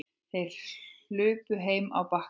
Þær hlupu heim á Bakka.